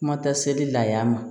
Kuma tɛ seli la y'a ma